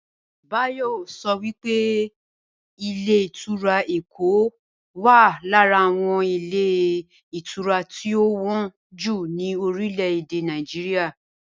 Báyò̩ so wí pé ilé ìtura Èkó wà lára àwo̩n ilé ìtura tí ó wó̩n jù ni orílè̩-èdè Nàìjíríà